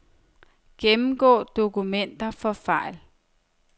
Gennemgå dokumenter for fejl.